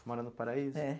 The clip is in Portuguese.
Mora no Paraíso? É.